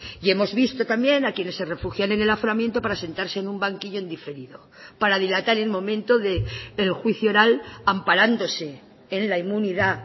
y hemos visto también a quienes se refugian en el aforamiento para sentarse en un banquillo en diferido para dilatar el momento del juicio oral amparándose en la inmunidad